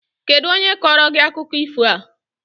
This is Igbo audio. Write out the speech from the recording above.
Kedụ onye kọọrọ gị akụkọ ifo a?